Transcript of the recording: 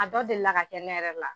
A dɔ deli ka kɛ ne yɛrɛ la